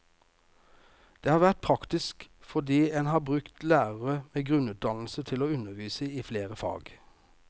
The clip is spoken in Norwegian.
Det har vært praktisk, fordi en har brukt lærere med grunnutdannelse til å undervise i flere fag.